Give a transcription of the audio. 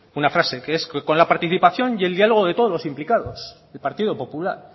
una frase que es con la participación y el diálogo de todos los implicados el partido popular